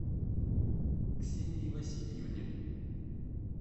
ксении васильевне